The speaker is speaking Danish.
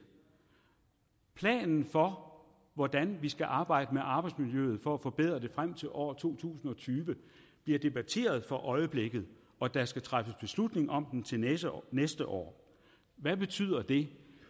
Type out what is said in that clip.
planen for hvordan vi skal arbejde med arbejdsmiljøet for at forbedre det frem til år to tusind og tyve bliver debatteret for øjeblikket og der skal træffes beslutning om den til næste år næste år hvad betyder det